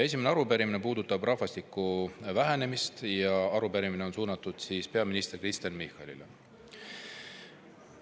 Esimene arupärimine puudutab rahvastiku vähenemist ja arupärimine on suunatud peaminister Kristen Michalile.